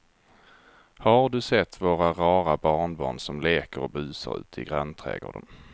Har du sett våra rara barnbarn som leker och busar ute i grannträdgården!